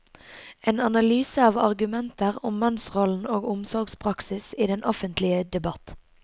En analyse av argumenter om mannsrollen og omsorgspraksis i den offentlige debatt.